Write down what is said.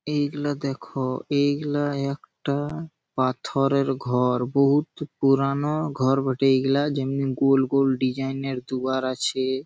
এইগুলো দেখো এইগুলা একটা পাথরের ঘর। বহুত পুরানো ঘর বটে এইগুলা। যেমনেই গোল গোল ডিজাইন এর দুয়ার আছে।